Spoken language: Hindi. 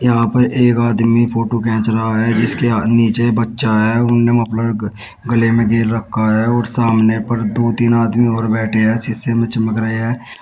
यहां पर एक आदमी फोटो खींच रहा है जिसके नीचे बच्चा है उन्होंने मफलर ग गले में घेर रखा है और सामने पर दो तीन आदमी और बैठे हैं शीशे में चमक रहे हैं।